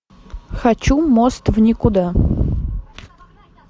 хочу мост в никуда